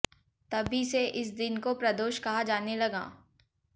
तभी से इस दिन को प्रदोष कहा जाने लगा